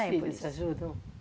filhos ajudam?